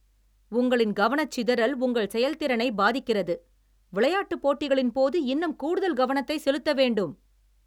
உங்களின் கவனசிதறல் உங்கள் செயல் திறனை பாதிக்கிறது. விளையாட்டு போட்டிகளின் போது இன்னும் கூடுதல் கவனத்தை செலுத்த வேண்டும்